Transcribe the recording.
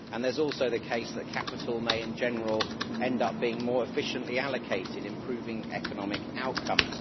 And it is also the case that capital may, in general, end up being more efficiently allocated, improving economic outcomes.